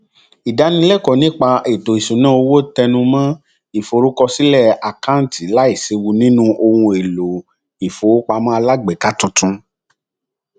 ìdánilẹkọọ nípa ètò ìṣúnná owó tẹnu mọ ìforúkọsílẹ àkáǹtì láìséwu nínú ohun èlò ìfowópamọ alágbèéká tuntun